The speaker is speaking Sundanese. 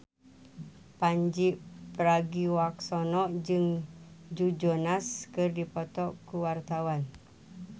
Pandji Pragiwaksono jeung Joe Jonas keur dipoto ku wartawan